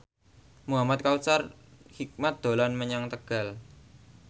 Muhamad Kautsar Hikmat dolan menyang Tegal